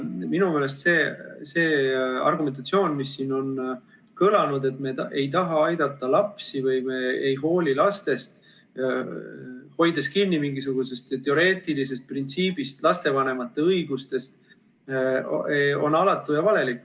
Minu meelest see argumentatsioon, mis siin on kõlanud, et me ei taha lapsi aidata või ei hooli neist, hoides kinni mingisugusest teoreetilisest printsiibist, lapsevanemate õigustest, on alatu ja valelik.